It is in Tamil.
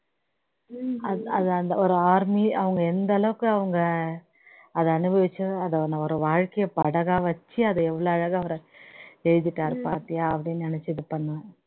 அஆது அந்த ஒரு army அவங்க எந்த அளவுக்கு அவங்க அதை அனுபவிச்சி அதை ஒரு வாழ்க்கையை படகா வச்சி அதை எவ்ளோ அழகா அவர் எழுதிட்டாரு பார்த்தியா அப்படின்னு நினைச்சி இது பண்ணுவேன்